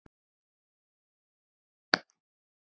Erika Hendrik